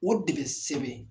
O de be sɛbɛn